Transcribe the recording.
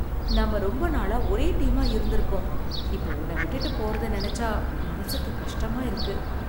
நாம ரொம்ப நாளா ஒரே டீமா இருந்திருக்கோம், இப்ப உன்ன விட்டுட்டு போறத நினச்சா மனசுக்கு கஷ்டமா இருக்கு